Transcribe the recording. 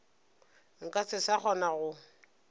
nka se sa kgona go